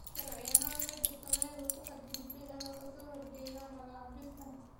sharci ahaan, ma jirto meel uu ku xad-gudbay ama ka soo horjeeda magacaabistan.